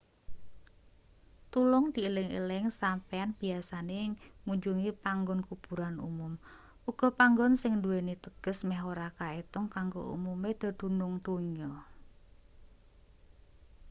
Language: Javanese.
tulung dieling-eling sampeyan biyasane ngunjungi panggon kuburan umum uga panggon sing nduweni teges meh ora kaetung kanggo umume dedunung donya